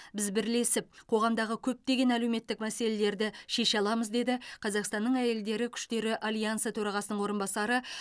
біз бірлесіп қоғамдағы көптеген әлеуметтік мәселелерді шеше аламыз деді қазақстанның әйелдері күштері альянсы төрағасының орынбасары